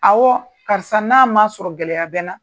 karisa n'a ma sɔrɔ gɛlɛya bɛ n na.